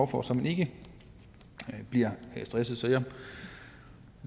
for så man ikke bliver stresset jeg